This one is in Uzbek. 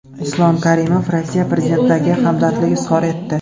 Islom Karimov Rossiya Prezidentiga hamdardlik izhor etdi.